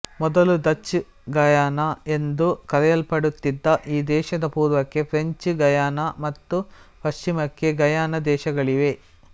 ಮೊದಲು Dutch Guyana ಎಂದು ಕರೆಯಲ್ಪಡುತ್ತಿದ್ದ ಈ ದೇಶದ ಪೂರ್ವಕ್ಕೆ ಫ್ರೆಂಚ್ ಗಯಾನ ಮತ್ತು ಪಶ್ಚಿಮಕ್ಕೆ ಗಯಾನ ದೇಶಗಳಿವೆ